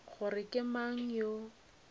gore ke mang yo a